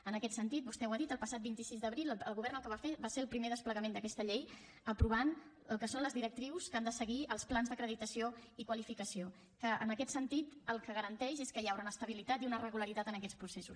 en aquest sentit vostè ho ha dit el passat vint sis d’abril el govern el que va fer va ser el primer desplegament d’aquesta llei aprovant el que són les directrius que han de seguir els plans d’acreditació i qualificació que en aquest sentit el que garanteix és que hi haurà una estabilitat i una regularitat en aquests processos